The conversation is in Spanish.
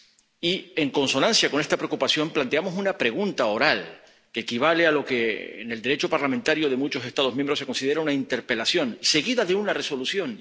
Y, en consonancia con esta preocupación, planteamos una pregunta oral, que equivale a lo que en el Derecho parlamentario de muchos Estados miembros se considera una interpelación, seguida de una resolución.